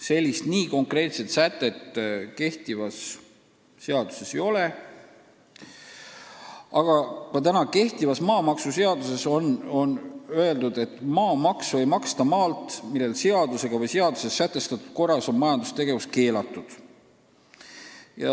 Sellist nii konkreetset sätet kehtivas maamaksuseaduses ei ole, küll on seal öeldud, et maamaksu ei maksta maalt, millel seadusega või seaduses sätestatud korras on majandustegevus keelatud.